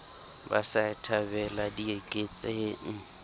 ba sa e thabela dieketseng